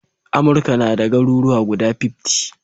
Amurka nada garuruwa guda fiftty